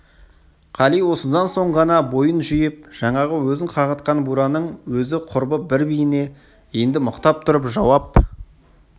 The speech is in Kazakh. қали осыдан соң ғана бойын жиып жаңағы өзін қағытқан бураның өзі құрбы бір биіне енді мықтап тұрып жауап